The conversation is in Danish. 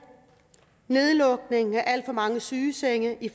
nedlukning af alt for mange sygesenge i